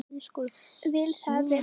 Vil það vel.